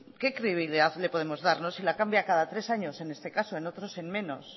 qué credibilidad le podemos dar no si la cambia cada tres años en este caso en otros en menos